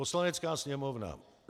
Poslanecká sněmovna